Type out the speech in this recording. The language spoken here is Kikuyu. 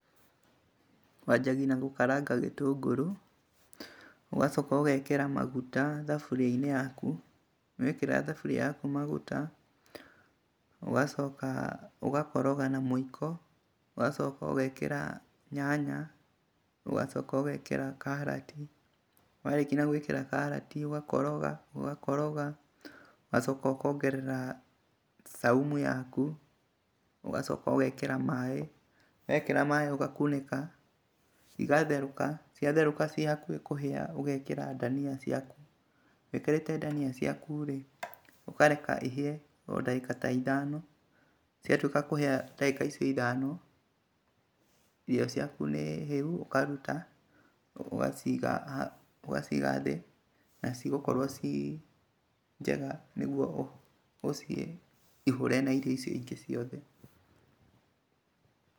Wanjagia na gũkaranga gĩtũngũrũ, ũgacoka ũgekĩra maguta thafuriainĩ yaku. Wekĩra thaburia yaku maguta ũgacoka ũgakoroga na mũĩko, ũgacoka ũgekĩra karati. Warĩkia gũĩkĩra karati, ũgakoroga , ũgakoraga ũgacoko ũkongerera saumu yaku, ũgacoka ũgekĩra maĩ. Wekĩra maĩ ũgakunĩka, igatherũka. Ciatherũka ihakuhĩ kũhĩa ũgekĩra dania ciaku. Wĩkĩrĩte dania ciakurĩ, ũkareka ihĩe odagĩka ta ithano. Ciatuĩka kũhĩa dagĩka icio ithano. Irio ciaku nĩhĩu ũkaruta ũgaciga ũgaciga thĩ. Nacigũkorwo cinjega nĩguo ũcihũre na irio icio ingĩ ciothe.